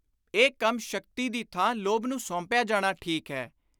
ਇਹ ਕੰਮ ਸ਼ਕਤੀ ਦੀ ਥਾਂ ਲੋਭ ਨੂੰ ਸੌਂਪਿਆ ਜਾਣਾ ਠੀਕ ਹੈ।